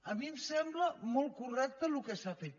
a mi em sembla molt correcte el que s’ha fet